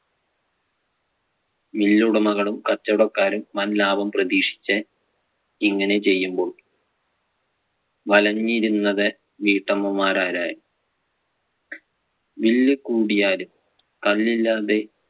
mill ഉടമകളും, കച്ചവടക്കാരും വൻ ലാഭം പ്രതീക്ഷിച്ച് ഇങ്ങനെ ചെയ്യുമ്പോൾ വലഞ്ഞിരുന്നത് വീട്ടമ്മമ്മാരാരായിരുന്നു. bill കൂടിയാലും കല്ലില്ലാതെ